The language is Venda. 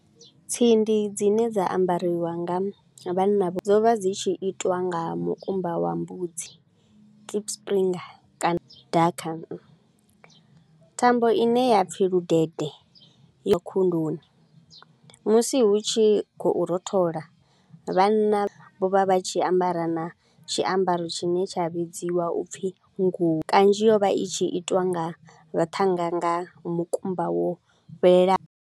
Tsindi dzine dza ambariwa nga vhanna, dzo vha dzi tshi itiwa nga mukumba wa mbudzi. Kana thambo i ne ya pfi ludede ya khunduni, musi hu tshi khou rothola vhanna vho vha vha tshi ambara na tshiambaro tshine tsha vhidziwa u pfi ngu. Kanzhi yo vha i tshi itiwa nga vhathannga nga mukumba wo fhelela.